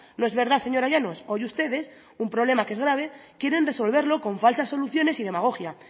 no es verdad señora llanos hoy ustedes un problema que es grave quieren resolverlo con falsas soluciones y demagogia